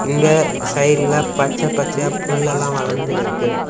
நீங்க சைடுல பச்ச பச்சையா புல் எல்லாம் வளர்ந்து இருக்கு.